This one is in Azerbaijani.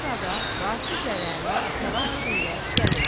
Bu sırada Vasiflə Rəna təlaş içində gəlirlər.